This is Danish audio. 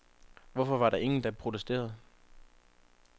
Hvorfor var der ingen, der protesterede?